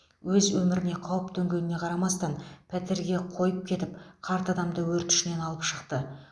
өз өміріне қауіп төнгеніне қарамастан пәтерге қойып кетіп қарт адамды өрт ішінен алып шықты